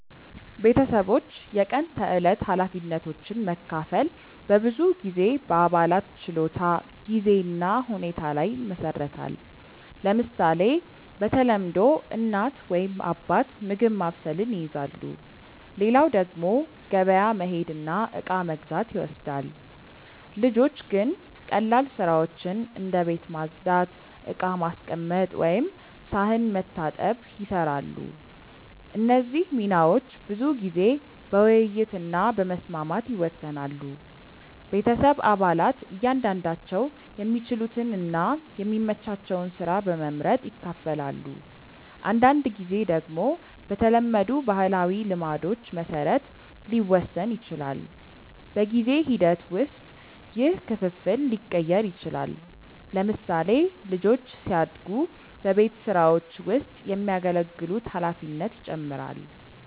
ቤተሰቦች የቀን ተዕለት ኃላፊነቶችን መካፈል በብዙ ጊዜ በአባላት ችሎታ፣ ጊዜ እና ሁኔታ ላይ ይመሰረታል። ለምሳሌ፣ በተለምዶ እናት ወይም አባት ምግብ ማብሰልን ይይዛሉ፣ ሌላው ደግሞ ገበያ መሄድ እና እቃ መግዛት ይወስዳል። ልጆች ግን ቀላል ስራዎችን እንደ ቤት ማጽዳት፣ ዕቃ ማስቀመጥ ወይም ሳህን መታጠብ ይሰራሉ። እነዚህ ሚናዎች ብዙ ጊዜ በውይይት እና በመስማማት ይወሰናሉ። ቤተሰብ አባላት እያንዳንዳቸው የሚችሉትን እና የሚመቻቸውን ስራ በመመርጥ ይካፈላሉ። አንዳንድ ጊዜ ደግሞ በተለመዱ ባህላዊ ልማዶች መሰረት ሊወሰን ይችላል። በጊዜ ሂደት ውስጥ ይህ ክፍፍል ሊቀየር ይችላል። ለምሳሌ፣ ልጆች ሲያድጉ በቤት ስራዎች ውስጥ የሚያገለግሉት ኃላፊነት ይጨምራል።